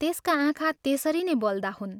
त्यसका आँखा त्यसरी नै बल्दा हुन्।